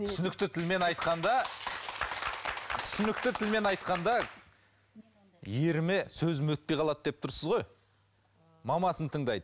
түсінікті тілмен айтқанда түсінікті тілмен айтқанда еріме сөзім өтпей қалады деп тұрсыз ғой мамасын тыңдайды